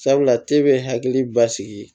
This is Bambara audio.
Sabula te be hakili basigi